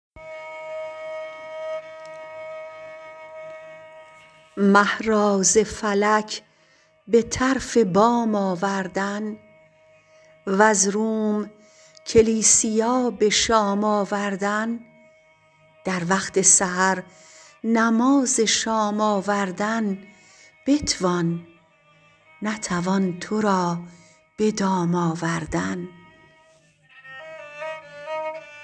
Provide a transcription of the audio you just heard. مه را ز فلک به طرف بام آوردن وز روم کلیسیا به شام آوردن در وقت سحر نماز شام آوردن بتوان نتوان تو را به دام آوردن